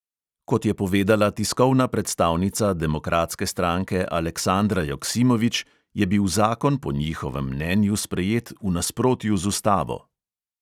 Kot je povedala tiskovna predstavnica demokratske stranke aleksandra joksimović, je bil zakon po njihovem mnenju sprejet v nasprotju z ustavo.